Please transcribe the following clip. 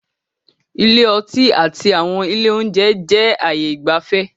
Ilé ọtí àti àwọn ilé oúnjẹ jẹ ayé ìgbafẹ́